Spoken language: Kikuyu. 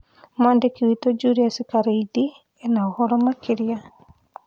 Mwandĩki witũ Julius Kareithi ena ũhoro makĩria